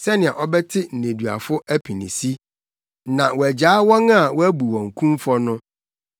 sɛnea ɔbɛte nneduafo apinisi, na wɔagyaa wɔn a wɔabu wɔn kumfɔ no.”